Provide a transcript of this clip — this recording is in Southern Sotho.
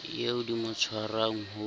eo di mo tshwarang ho